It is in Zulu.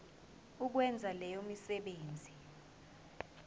ukwenza leyo misebenzi